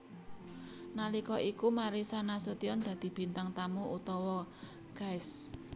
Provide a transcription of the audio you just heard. Nalika iku Marissa Nasution dadi bintang tamu utawa Guest